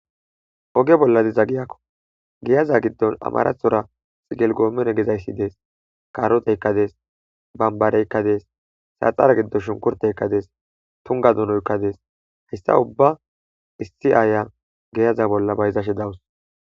oge bolladi zagiyakko geyaza giddon amarathora xigelgoomen gezayssi dees karoteykkades bambareykkades saaxara giddon shunkurteykkades tunga dunoykkades hayssa ubba issi aaya geyaza bolla bayzashe dawus